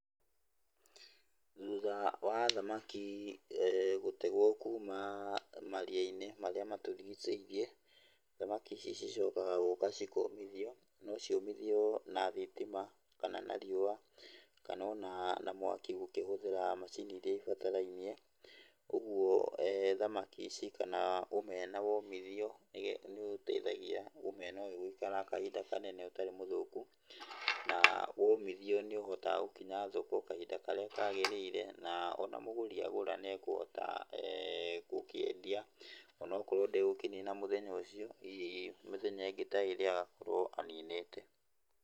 Thutha wa thamaki gũtegwo kuuma maria-inĩ maríĩ matũrigicĩirie, thamaki ici cicokaga cigoka cikomithio, no ciũmithio na thitima kana na riũa kana ona mwaki ũkĩhũthĩra macini iria ibatarainie, ũguo thamaki ici kana omena womithio nĩ ũteithagia omena ũyũ gũikara kahinda kanene ũtarĩ mũthũku na womithio nĩ ũhotaga gũkinya thoko kahinda karĩa kagĩrĩire ona mũgũri agũra nĩekũhota gũkĩendia ona akorwo ndegũkĩnina mũthenya ũcio, hihi mĩthenya ĩngĩ ta ĩrĩ agakorwo aninĩte.